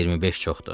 25 çoxdur.